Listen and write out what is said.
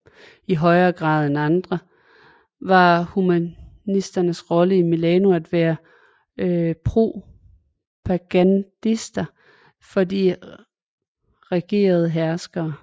I højere grad end andre steder var humanisternes rolle i Milano at være propagandister for de regerende herskere